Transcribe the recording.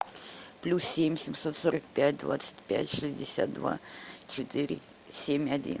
плюс семь семьсот сорок пять двадцать пять шестьдесят два четыре семь один